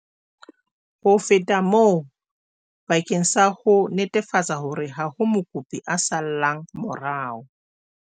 Ho feta moo, bakeng sa ho netefatsa hore ha ho mokopi a sallang morao,